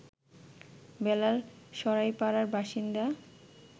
বেলাল সরাইপাড়ার বাসিন্দা